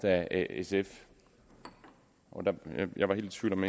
af sf jeg var helt i tvivl om